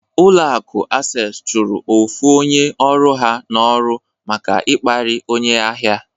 Ụlọ akụ Asess chụrụ ofu onye ọrụ ha n'ọrụ maka ịkparị onye ahịa.